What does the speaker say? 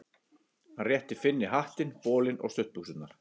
Hann rétti Finni hattinn, bolinn og stuttbuxurnar.